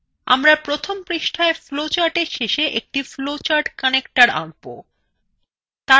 আমরা প্রথম পৃষ্ঠায় flowchartwe শেষে একটি flowchartconnector আঁকব